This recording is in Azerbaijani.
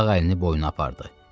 Sağ əlini boyuna apardı.